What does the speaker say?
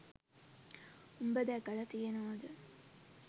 උබ දැකල තියනවද